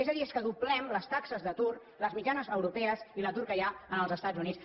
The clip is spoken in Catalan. és a dir és que doblem les taxes d’atur les mitjanes europees i l’atur que hi ha en els estats units